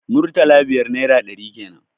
Murtala biyar naira ɗari kenan